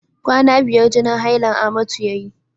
Kwana biyar jinin hailan amatu yayi.